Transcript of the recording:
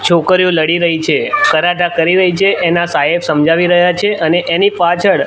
છોકરીઓ લડી રહી છે કરાટા કરી રહી છે એના સાહેબ સમજાવી રહ્યા છે અને એની પાછળ--